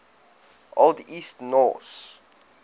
old east norse